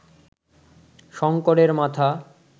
শঙ্করের মাথা